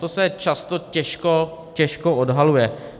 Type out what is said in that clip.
To se často těžko odhaluje.